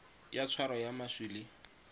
ya tshwaro ya maswi le